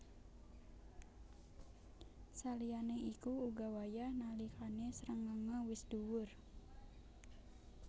Saliyané iku uga wayah nalikané srengéngé wis dhuwur